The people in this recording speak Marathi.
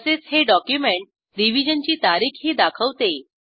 तसेच हे डॉक्युमेंट रिव्हिजन ची तारीखही दाखवते